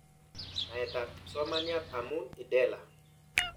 Naet ab kipsomaniat amu IDELA